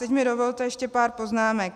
Teď mi dovolte ještě pár poznámek.